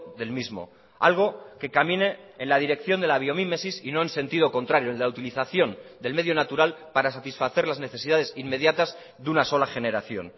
del mismo algo que camine en la dirección de la biomímesis y no en sentido contrario en la utilización del medio natural para satisfacer las necesidades inmediatas de una sola generación